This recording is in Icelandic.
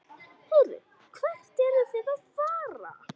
Heyrðu, hvert eruð þið að fara?